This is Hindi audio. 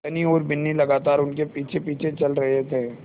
धनी और बिन्नी लगातार उनके पीछेपीछे चल रहे थे